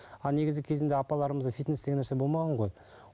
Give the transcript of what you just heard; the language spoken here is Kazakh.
а негізі кезінде апаларымызда фитнес деген нәрсе болмаған ғой